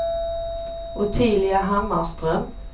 Ottilia Hammarström